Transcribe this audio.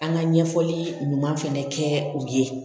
An ka ɲɛfɔli ɲuman fɛnɛ kɛ u ye